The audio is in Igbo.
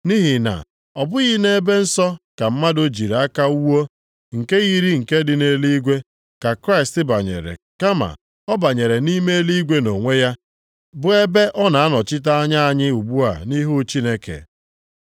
Nʼihi na ọ bụghị nʼebe nsọ nke mmadụ jiri aka wuo, nke yiri nke dị nʼeluigwe, ka Kraịst banyere, kama ọ banyere nʼime eluigwe nʼonwe ya, bụ ebe ọ na-anọchite anya anyị ugbu a nʼihu Chineke.